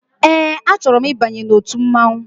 Ee a chọrọ m ịbanye n'ọtu mmanwụ.